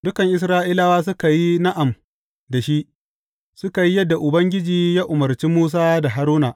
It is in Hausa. Dukan Isra’ilawa suka yi na’am da shi, suka yi yadda Ubangiji ya umarci Musa da Haruna.